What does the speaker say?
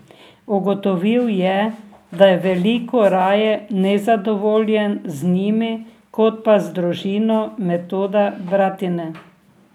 Ugotovil je, da je veliko raje nezadovoljen z njimi kot pa z družino Metoda Bratine.